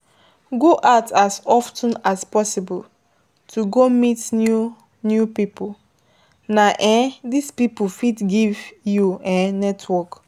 Go out as of ten as possible to go meet new new pipo, na um those pipo fit give you um network